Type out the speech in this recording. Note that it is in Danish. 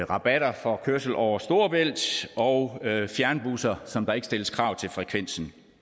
rabatter for kørsel over storebælt og fjernbusser som der ikke stilles krav til frekvensen